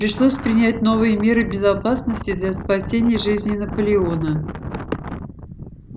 пришлось принять новые меры безопасности для спасения жизни наполеона